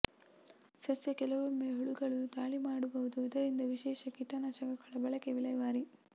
ಸಸ್ಯ ಕೆಲವೊಮ್ಮೆ ಹುಳುಗಳು ದಾಳಿ ಮಾಡಬಹುದು ಇದರಿಂದ ವಿಶೇಷ ಕೀಟನಾಶಕಗಳ ಬಳಕೆ ವಿಲೇವಾರಿ